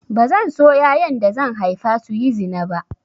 Bazan so yayan da zan haifa su yi zina ba